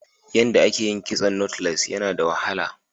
Yanda a ye yin kitson " knotless" Yana da wahala.